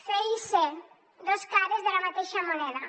fer i ser dos cares de la mateixa moneda